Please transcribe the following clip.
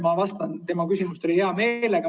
Ma vastan tema küsimustele hea meelega.